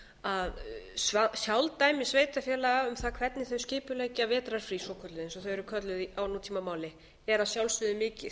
að sjálfdæmi sveitarfélaga um það hvernig þau skipuleggja vetrarfrí svokölluð eins og þau eru kölluð á nútímamáli er að sjálfsögðu mikið en hins vegar